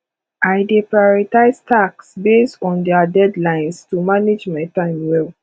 i dey prioritize tasks based on their deadlines to manage my time well